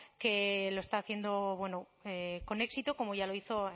que lo está haciendo con éxito como ya lo hizo